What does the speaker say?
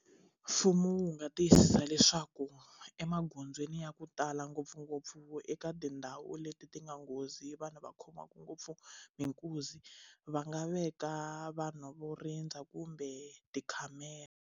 Mfumo wu nga tiyisisa leswaku emagondzweni ya ku tala ngopfungopfu eka tindhawu leti ti nga nghozi vanhu va khomaku ngopfu hi nkuzi va nga veka vanhu vo rindza kumbe tikhamera.